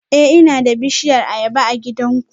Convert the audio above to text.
Eh ina da bishiyar ayaba a gidanku